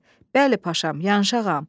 “Bəli, paşam, yanıq ağam.”